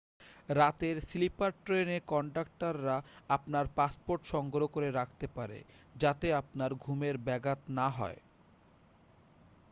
রাতের স্লিপার ট্রেনে কনডাক্টররা আপনার পাসপোর্ট সংগ্রহ করে রাখতে পারে যাতে আপনার ঘুমের ব্যাঘাত না হয়